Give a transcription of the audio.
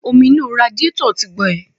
Omi inú radíetọ̀ tí gbe.